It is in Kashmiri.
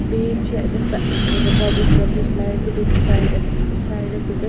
.بیٚیہِ چھ اَتٮ۪تھ سہ رو وۄزٕج کلرٕچ لایٹ تہِ بیٚیہِ چھ سایڈٕ سایڈس ییٚتٮ۪ھ